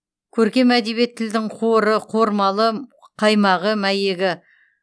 көркем әдебиет тілдің қоры қормалы қаймағы мәйегі